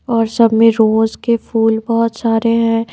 और सब में रोज के फूल बहुत सारे हैं।